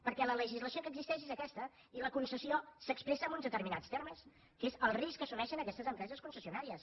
perquè la legislació que existeix és aquesta i la concessió s’expressa en uns determinats termes que és el risc que assumeixen aquestes empreses concessionàries